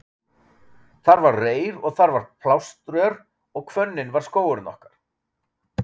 Þar var reyr og þar var blástör og hvönnin var skógurinn okkar.